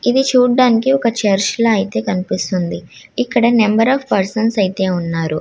ఇది చుడానికి ఒక చర్చ్ ల అయితే కనిపిస్తుంది ఇక్కడ నెంబర్ అఫ్ పర్సన్స్ వున్నారు.